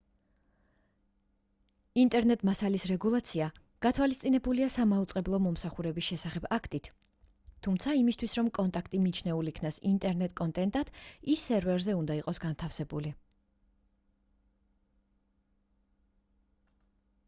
ინტერნეტ მასალის რეგულაცია გათვალისწინებულია სამაუწყებლო მომსახურების შესახებ აქტით თუმცა იმისთვის რომ კონტენტი მიჩნეულ იქნას ინტერნეტ კონტენტად ის სერვერზე უნდა იყოს განთავსებული